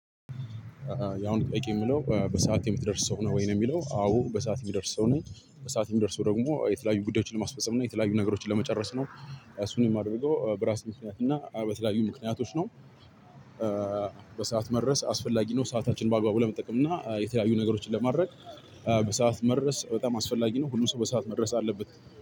ያው አሁን በቂ የምለው በሰአት የምትደርስ ሰው ነህ ወይ ነው? የሚለው አዎ በሰአት የምደርስ ሰው ነኝ በሰአት የምደርሰው ደግሞ የተለያዩ ጉዳዮችን ለማስፈፀም እና የተለያዩ ነገሮችን ለመጨረስ ነው። እሱን የማደርገው በራሴ ምክንያት እና በተለያዩ ምክንያቶች ነው። በሰአት መድረስ አስፈላጊ ነው ሰአታችንን በአግባቡ ለመጠቀም እና የተለያዩ ነገሮችን ለማድረግ። በሰአት መድረስ በጣም አስፈላጊ ነው። ሁሉም ሰው በሰአት መድረስ አለበት